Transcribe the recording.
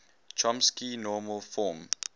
chomsky normal form